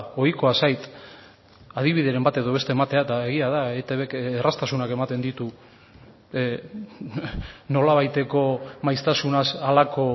ohikoa zait adibideren bat edo beste ematea eta egia da eitbk erraztasunak ematen ditu nolabaiteko maiztasunaz halako